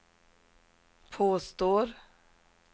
påstår